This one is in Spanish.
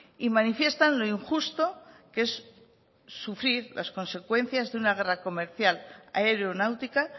y manifiestan lo injusto que es sufrir las consecuencias de una guerra comercial aeronáutica